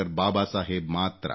ಬಾಬಾ ಸಾಹೇಬ್ ಮಾತ್ರ